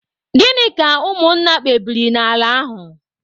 Gịnị ka ụmụ nna kpebiri n'ala ahụ?